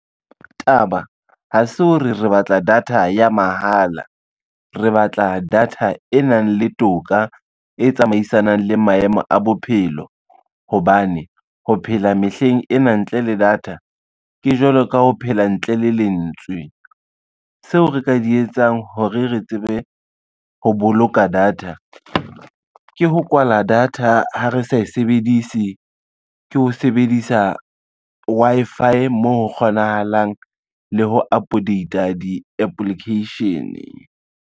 Taba ha se hore re batla data ya mahala, re batla data e nang le toka, e tsamaisanang le maemo a bophelo. Hobane ho phela mehleng ena ntle le data, ke jwalo ka ho phela ntle le lentswe, seo re ka di etsang hore re tsebe ho boloka data. Ke ho kwala data ha re sa e sebedise, ke ho sebedisa Wi-Fi moo ho kgonahalang le ho update-a di-application.